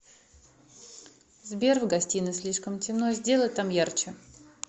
сбер в гостиной слишком темно сделай там ярче